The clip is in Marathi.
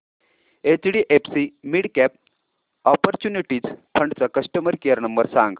एचडीएफसी मिडकॅप ऑपर्च्युनिटीज फंड चा कस्टमर केअर नंबर सांग